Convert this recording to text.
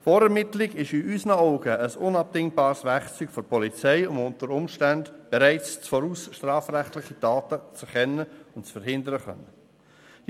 Die Vorermittlung ist unseres Erachtens ein unabdingbares Werkzeug der Polizei, um unter Umständen bereits im Voraus strafrechtliche Taten erkennen und verhindern zu können.